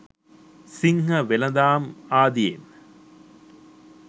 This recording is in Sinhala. සිංහ වෙළෙඳාම් ආදියෙන්